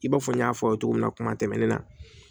I b'a fɔ n y'a fɔ aw ye togo minna kuma tɛmɛnenw na